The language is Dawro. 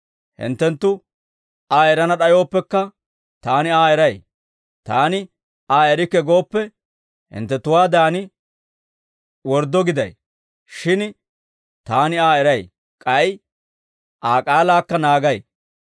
Hinttenttu Aa erana d'ayooppekka, Taani Aa eray. Taani Aa erikke gooppe, hinttenttuwaadan worddo giday; shin Taani Aa eray; k'ay Aa k'aalaakka naagay.